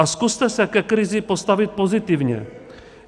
A zkuste se ke krizi postavit pozitivně.